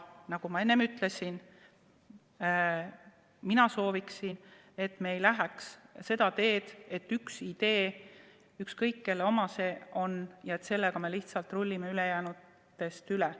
Nagu ma enne ütlesin, soovin ma, et me ei läheks seda teed, et on üks idee – ükskõik, kelle oma see on – ja sellega me lihtsalt rullime ülejäänutest üle.